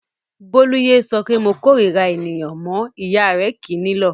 Bólú yé sọ pé "mo korira ènìyàn" mọ́ ìyá rẹ̀ kì í nílọ̀.